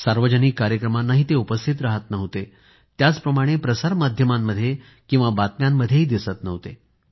सार्वजनिक कार्यक्रमांना ते उपस्थित रहात नव्हते त्याचप्रमाणे प्रसार माध्यमांमध्ये बातम्यांमध्येही दिसत नव्हते